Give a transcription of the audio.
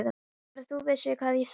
Bara að þú vissir hvað ég sakna þín.